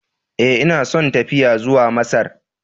Ee, ina son tafiya zuwa Masar.